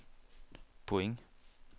point